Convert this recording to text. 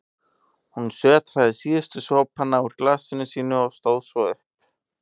Hún sötraði síðustu sopana úr glasinu sínu og stóð svo upp.